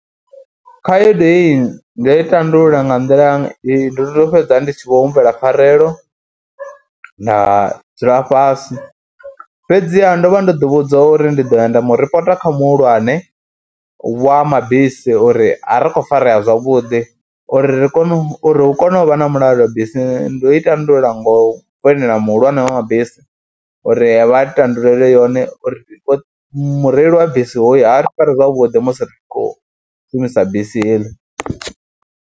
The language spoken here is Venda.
Khaedu heyi ndo i tandulula nga nḓila, ndo tou fhedza ndi tshi khou humbela pfharelo, nda dzula fhasi fhedziha ndo vha ndo ḓivhudza uri ndi ḓo ya nda mu ripota kha muhulwane wa mabisi uri a ri khou farea zwavhuḓi, uri ri kone uri hu kone u vha na mulalo bisini, ndo i tandulula ngo foinela muhulwane wa mabisi uri vha ri tandulule yone uri mureili wa bisi hoyu a ri fari zwavhuḓi musi ri khou shumisa bisi heḽi.